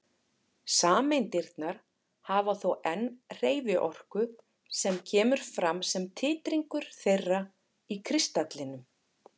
Sameindirnar hafa þó enn hreyfiorku sem kemur fram sem titringur þeirra í kristallinum.